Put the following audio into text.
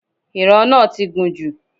Ìran náà ti gùn jù